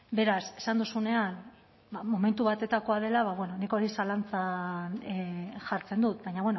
beraz esan duzunean ba momentu batetakoa dela ba bueno nik hori zalantzan jartzen dut baina